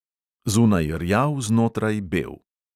Zunaj rjav, znotraj bel.